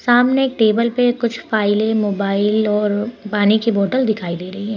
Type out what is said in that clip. सामने एक टेबल पे कुछ फाइलें मोबाइल और पानी की बोतल दिखाई दे रही है।